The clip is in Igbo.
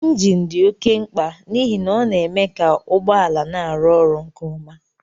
Injin dị oké mkpa n'ihi na ọ na-eme ka ụgbọ ala na-arụ ọrụ nke ọma